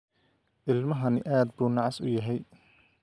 Ilmahani aad buu u nacas yahay